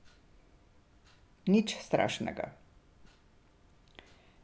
Nič strašnega.